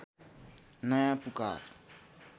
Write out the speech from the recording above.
नयाँ पुकार